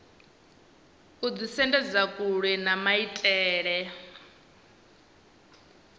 u ḓisendedza kule na maitele